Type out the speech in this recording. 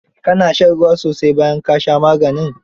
Ka na shan ruwa sosai bayan ka sha maganin?